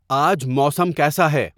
آج موسم کیسا ہے